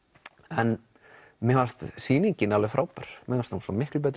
en mér fannst sýningin alveg frábær mér fannst hún svo miklu betri